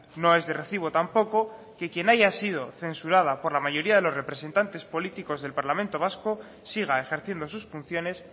no es de recibo tampoco que quien haya sido censurada por la mayoría de los representantes políticos del parlamento vasco siga ejerciendo sus funciones